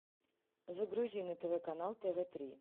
загрузи на тв канал тв три